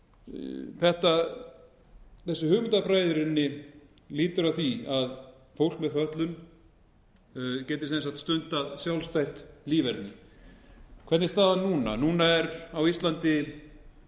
þessi hugmyndafræði er í rauninni lýtur að því að fólk með fötlun geti stundað sjálfstætt líferni hvernig er staðan núna núna er fólk með fötlun